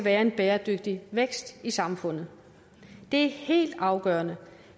er en bæredygtig vækst i samfundet det er helt afgørende